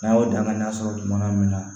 N'a y'o danganiya sɔrɔ juguma min na